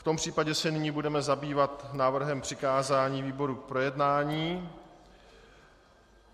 V tom případě se nyní budeme zabývat návrhem přikázání výborům k projednání.